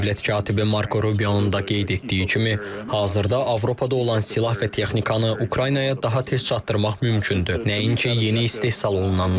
Dövlət katibi Marko Rubio-nun da qeyd etdiyi kimi, hazırda Avropada olan silah və texnikanı Ukraynaya daha tez çatdırmaq mümkündür, nəinki yeni istehsal olunanları.